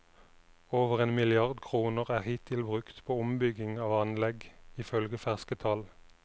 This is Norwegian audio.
Over en milliard kroner er hittil brukt på ombygging av anlegg, ifølge ferske tall.